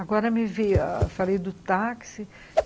Agora me vê, falei do táxi.